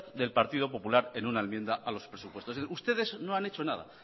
del partido popular en una enmienda a los presupuestos ustedes no han hecho nada